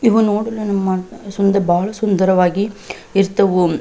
ಇವು ನೋಡಿನೇ ನಮ್ಮ ಬಹಳ ಸುಂದರವಾಗಿ ಇರ್ತವು.